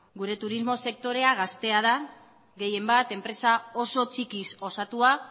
gure turismo sektorea gaztea da gehienbat enpresa oso txikiz osatua